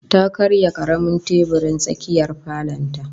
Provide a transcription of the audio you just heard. Ta karya karamin teburin tsakiyar falon ta